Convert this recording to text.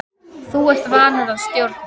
Þú ert vanur að stjórna.